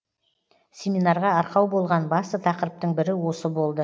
семинарға арқау болған басты тақырыптың бірі осы болды